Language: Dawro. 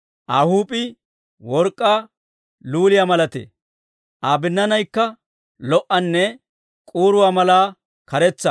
Aa huup'ii work'k'aa luliyaa malatee; Aa binnaanaykka lo"anne k'uuruwaa mala karetsa.